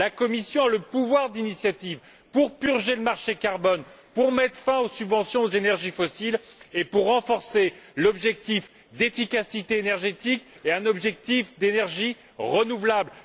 La Commission a le pouvoir d'initiative pour purger le marché du carbone, pour mettre fin aux subventions des énergies fossiles et pour renforcer les objectifs d'efficacité énergétique et des énergies renouvelables.